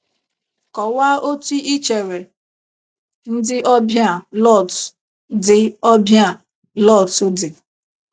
Kọwaa otú i chere ndị ọbịa Lọt dị ọbịa Lọt dị.